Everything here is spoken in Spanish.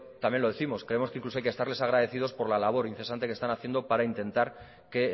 también lo décimos creemos que incluso hay que estarles agradecidos por la labor incesante que están haciendo para intentar que